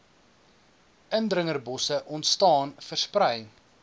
indringerbosse ontstaan versprei